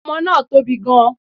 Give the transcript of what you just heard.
Omoe náà tóbi gan